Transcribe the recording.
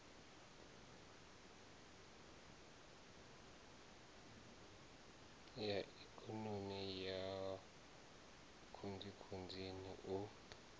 ya ikonomi ya khunzikhunzini u